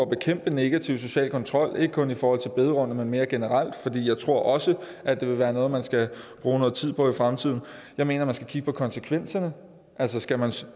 bekæmpe negativ social kontrol ikke kun i forhold til bederum men mere generelt for jeg tror også at det vil være noget man skal bruge noget tid på i fremtiden jeg mener man skal kigge på konsekvenserne altså skal man